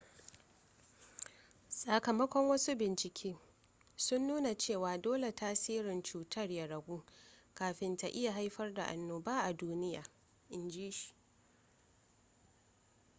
sakamakon wasu bincike sun nuna cewa dole tasirin cutar ya ragu kafin ta iya haifar da annoba a duniya in ji shi